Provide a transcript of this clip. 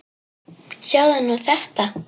Sjáðu nú þetta!